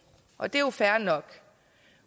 og det er fair nok